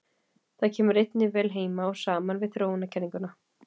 Það kemur einnig vel heim og saman við þróunarkenninguna.